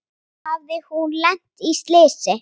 Hafði hún lent í slysi?